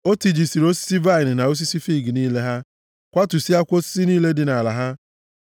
o tijisịrị osisi vaịnị na osisi fiig niile ha, kwatusịakwa osisi niile dị nʼala ha.